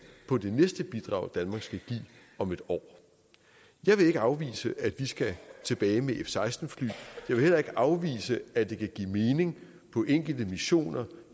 på det næste bidrag danmark skal give om et år jeg vil ikke afvise at vi skal tilbage med f seksten fly jeg vil heller ikke afvise at det kan give mening på enkelte missioner